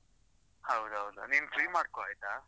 ಹೌದೌದು, ನೀನ್ free ಮಾಡ್ಕೋ ಆಯ್ತಾ?